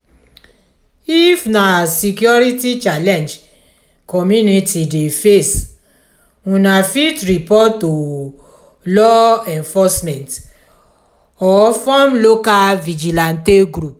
if na security challenge community dey face una fit report to law enforcement or form local vigilante group